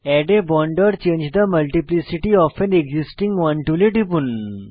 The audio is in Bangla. add a bond or change the multiplicity of an existing one টুলে টিপুন